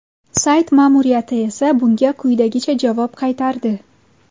Sayt ma’muriyati esa bunga quyidagicha javob qaytardi.